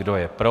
Kdo je pro?